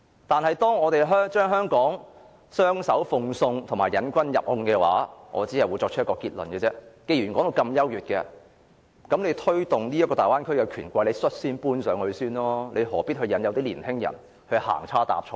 但是，如果我們將香港雙手奉送和墮入請君入甕的陷阱，我只會作出一個結論，就是既然說得大灣區如此優越，那麼推動大灣區的權貴應率先搬上去，何必引誘年輕人再次行差踏錯呢？